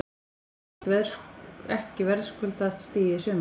Þetta var ekki verðskuldaðasta stigið í sumar?